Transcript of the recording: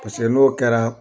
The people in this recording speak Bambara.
Paseke n'o kɛra